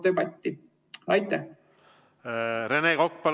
Rene Kokk, palun!